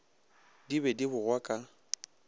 di be di bogwa ka